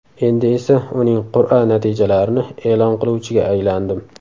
Endi esa uning qur’a natijalarini e’lon qiluvchiga aylandim.